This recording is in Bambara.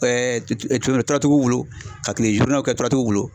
tu tu turatigiw bolo ka kile kɛ turatigiw bolo.